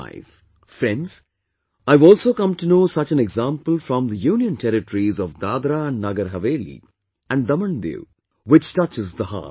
Friends, I have also come to know such an example from the Union Territories of DadraNagar Haveli and DamanDiu, which touches the heart